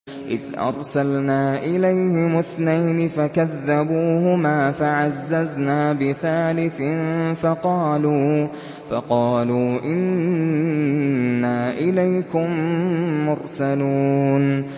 إِذْ أَرْسَلْنَا إِلَيْهِمُ اثْنَيْنِ فَكَذَّبُوهُمَا فَعَزَّزْنَا بِثَالِثٍ فَقَالُوا إِنَّا إِلَيْكُم مُّرْسَلُونَ